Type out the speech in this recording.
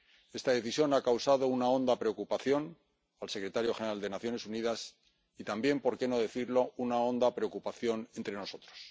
Esta decisión ha causado una honda preocupación al secretario general de las Naciones Unidas y también, por qué no decirlo, una honda preocupación entre nosotros.